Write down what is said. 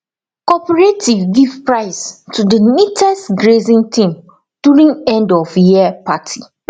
cooperative give prize to the neatest grazing team during endofyear party